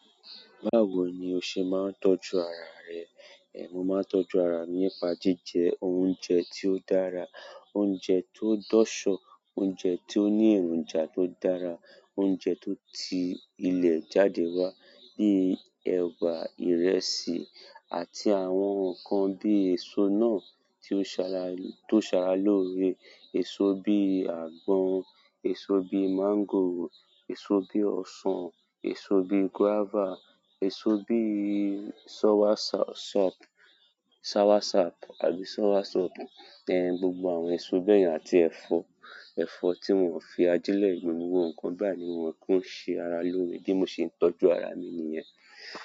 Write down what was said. Báwo ni o se maa n tọ́jú ara re. Ee, mo máa ń tọ́jú ara mi nípa jíjẹ oúnjẹ tí ó dára, oúnjẹ tó dọ́ṣọ, oúnjẹ tí ó ní èròjà tó dára, oúnjẹ tó ti ilẹ̀ jáde wá bíi ẹ̀bà, ìrẹsì àti àwọn nǹkan bí èso náà tí ó ṣa-tó ṣàrà l'ọ̀rẹ èso bí àgbọn, èso bí máńgòrò, èso bí ọsàn, èso bí guávà, èso bí sọ́wásọ́ọ̀pù, sowásọ̀ọ̀pù àbí sọ́wásọ̀ọ̀pù. Ehn, gbogbo àwọn èso bẹ́ yẹn àti ẹ̀fọ́, ẹ̀fọ́ tí wọ́n o fi ajílẹ̀ gbín, gbogbo nǹkan bayi ni wọ́n ki ń ṣe ara lóore. Bí mo ṣe ń tọ́jú ara mi ni yẹn.